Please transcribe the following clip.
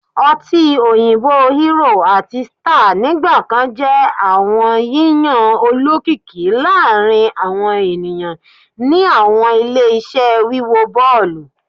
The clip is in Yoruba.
ọtí òyìnbó Hero àti Star nigbakan jẹ awọn yiyan olokiki laarin awọn eniyan ni awọn ile-iṣẹ wiwo bọọlu